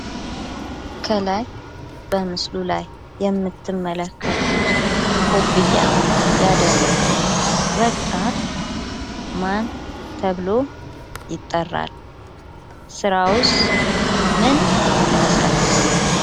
ከላይ በምስሉ ላይ የምትመለከቱት ኮፍያ ያደረገ ወጣት ማን ተብሎ ይጠራል? ስራዉስ ምን ይመስላችኋል?